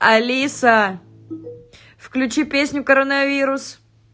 алиса включи песню коронавирус